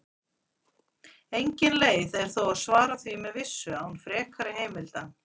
Engin leið er þó að svara því með vissu án frekari heimilda.